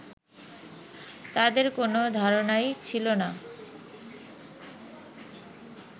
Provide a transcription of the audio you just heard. তাদের কোনো ধারণাই ছিল না